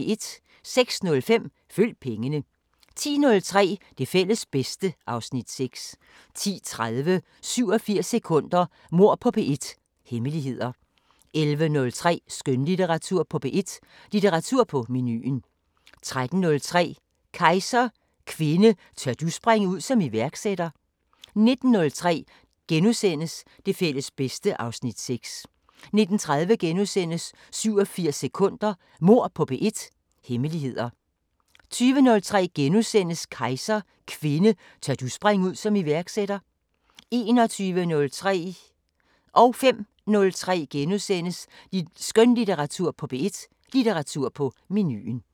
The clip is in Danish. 06:05: Følg pengene 10:03: Det fælles bedste (Afs. 6) 10:30: 87 sekunder – Mord på P1: Hemmeligheder 11:03: Skønlitteratur på P1: Litteratur på menuen 13:03: Kejser: Kvinde, tør du springe ud som iværksætter? 19:03: Det fælles bedste (Afs. 6)* 19:30: 87 sekunder – Mord på P1: Hemmeligheder * 20:03: Kejser: Kvinde, tør du springe ud som iværksætter? * 21:03: Skønlitteratur på P1: Litteratur på menuen * 05:03: Skønlitteratur på P1: Litteratur på menuen *